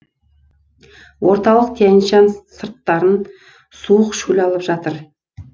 орталық тянь шань сырттарын суық шөл алып жатыр